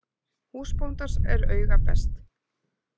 Húsbóndans er auga best .